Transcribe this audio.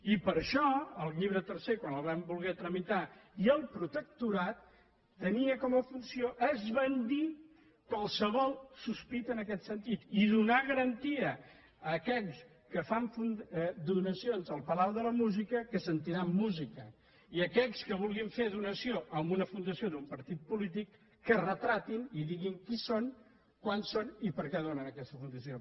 i per això el llibre tercer quan el vam voler tramitar i el protectorat tenia com a funció esbandir qualse·vol sospita en aquest sentit i donar garantia a aquells que fan donacions al palau de la música que sentiran música i aquells que vulguin fer donació a una funda·ció d’un partit polític que es retratin i diguin qui són quants són i per què ho donen a aquesta fundació